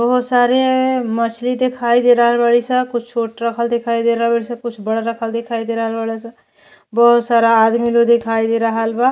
बहुत सारे मछली देखाई दे रहल बाड़ी स। कुछ छोट रखल दिखाई दे रहल बाड़ी स कुछ बड़ दिखइ दे रहल बाड़ी स। बहुत सारा आदमी लोग दिखाई दे रहल बा।